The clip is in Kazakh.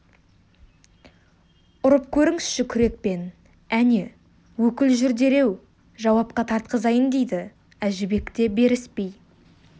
ұрып көріңізші күрекпен әне өкіл жүр дереу жауапқа тартқызайын дейді әжібек те беріспей